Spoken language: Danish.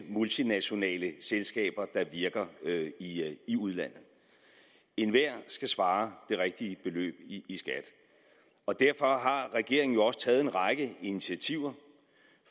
multinationale selskaber der virker i udlandet enhver skal svare det rigtige beløb i skat og derfor har regeringen jo også taget en række initiativer